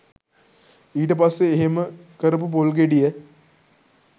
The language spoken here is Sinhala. ඊට පස්සේ එහෙම කරපු පොල් ගෙඩිය